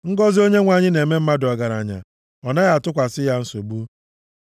Ngọzị Onyenwe anyị na-eme mmadụ ọgaranya, ọ naghị atụkwasị ya nsogbu.